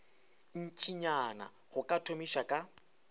ntšinyana go ka thomiša ka